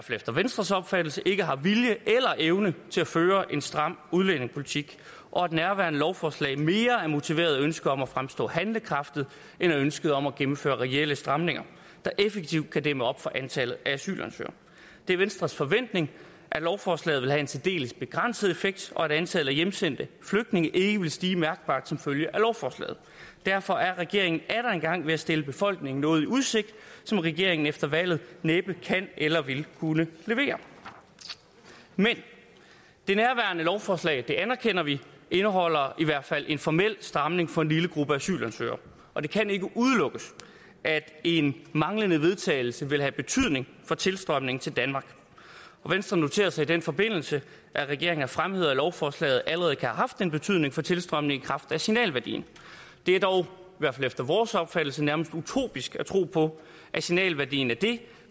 efter venstres opfattelse ikke har vilje eller evne til at føre en stram udlændingepolitik og at nærværende lovforslag mere er motiveret af ønsket om at fremstå handlekraftig end ønsket om at gennemføre reelle stramninger der effektivt kan dæmme op for antallet af asylansøgere det er venstres forventning at lovforslaget vil have en særdeles begrænset effekt og at antallet af hjemsendte flygtninge ikke vil stige mærkbart som følge af lovforslaget derfor er regeringen atter en gang ved at stille befolkningen noget i udsigt som regeringen efter valget næppe kan eller vil kunne levere men det nærværende lovforslag anerkender vi indeholder i hvert fald en formel stramning for en lille gruppe asylansøgere og det kan ikke udelukkes at en manglende vedtagelse vil have betydning for tilstrømningen til danmark venstre noterer sig i den forbindelse at regeringen har fremhævet at lovforslaget allerede kan have haft en betydning for tilstrømningen i kraft af signalværdien det er dog i hvert fald efter vores opfattelse nærmest utopisk at tro på at signalværdien af det